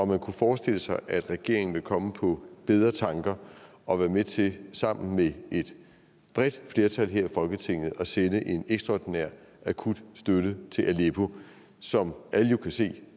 om man kunne forestille sig at regeringen vil komme på bedre tanker og være med til sammen med et bredt flertal her i folketinget at sende en ekstraordinær akut støtte til aleppo som alle kan se